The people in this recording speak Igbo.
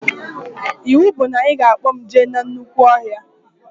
Iwu bụ na ị ga-akpọ mụ jee na nnukwu ọhịa